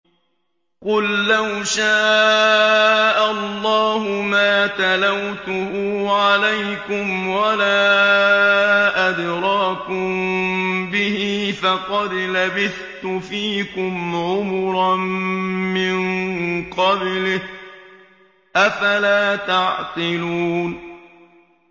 قُل لَّوْ شَاءَ اللَّهُ مَا تَلَوْتُهُ عَلَيْكُمْ وَلَا أَدْرَاكُم بِهِ ۖ فَقَدْ لَبِثْتُ فِيكُمْ عُمُرًا مِّن قَبْلِهِ ۚ أَفَلَا تَعْقِلُونَ